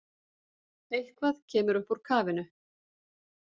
Eitthvað kemur upp úr kafinu